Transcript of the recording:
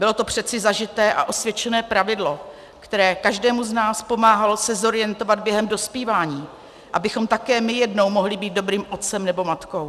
Bylo to přeci zažité a osvědčené pravidlo, které každému z nás pomáhalo se zorientovat během dospívání, abychom také my jednou mohli být dobrým otcem nebo matkou.